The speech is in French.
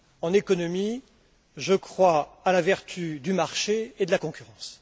En économie, je crois à la vertu du marché et de la concurrence.